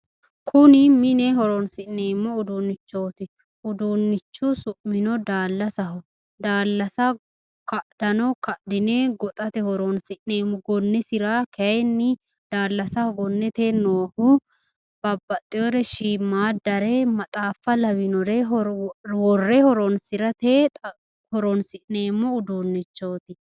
Kuni mine horonnsineemo udunnichooti, uduunnichu su'mino daallasaho, daallasa kadhano kadhine goxate horonnsi'neemo, gonnesira kayiinni daallasaho gonnete noohu babaxxewore shiimaaddare maxxaffa lawinore wore horonsi'neemo uduunnichooti